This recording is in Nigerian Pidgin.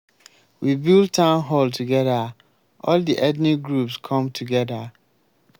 we build town hall together. all the ethnic groups come together.